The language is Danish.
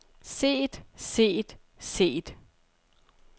set set set